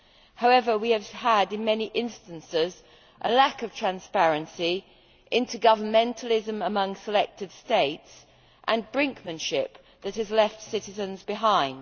However, we have had in many instances a lack of transparency, intergovernmentalism among selected states and brinkmanship that has left citizens behind.